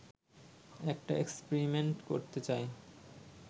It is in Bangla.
একটা এক্সপেরিমেন্ট করতে চায়